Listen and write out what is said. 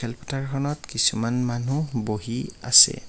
কিছুমান মানুহ বহি আছে।